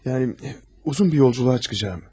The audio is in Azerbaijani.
Yəni uzun bir səyahətə çıxacağam.